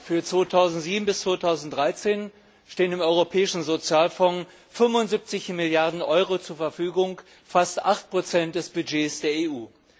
Für 2007 bis 2013 stehen dem Europäischen Sozialfonds 75 Milliarden Euro zur Verfügung, fast 8 des Budgets der EU.